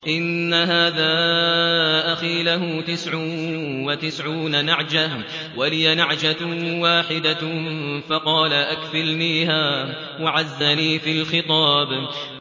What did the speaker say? إِنَّ هَٰذَا أَخِي لَهُ تِسْعٌ وَتِسْعُونَ نَعْجَةً وَلِيَ نَعْجَةٌ وَاحِدَةٌ فَقَالَ أَكْفِلْنِيهَا وَعَزَّنِي فِي الْخِطَابِ